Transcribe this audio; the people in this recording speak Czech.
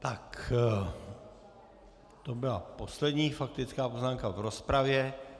Tak to byla poslední faktická poznámka v rozpravě.